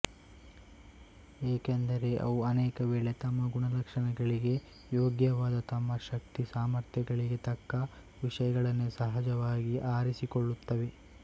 ಏಕೆಂದರೆ ಅವು ಅನೇಕ ವೇಳೆ ತಮ್ಮ ಗುಣಲಕ್ಷಣಗಳಿಗೆ ಯೋಗ್ಯವಾದ ತಮ್ಮ ಶಕ್ತಿ ಸಾಮರ್ಥ್ಯ್ತಗಳಿಗೆ ತಕ್ಕ ವಿಷಯಗಳನ್ನೇ ಸಹಜವಾಗಿ ಆರಿಸಿಕೊಳ್ಳುತ್ತವೆ